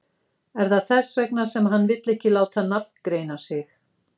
Er það þess vegna sem hann vill ekki láta nafngreina sig?